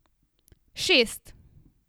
Šest.